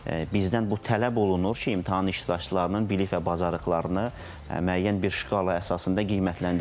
Bizdən bu tələb olunur ki, imtahan iştirakçılarının bilik və bacarıqlarını müəyyən bir şkala əsasında qiymətləndirmək.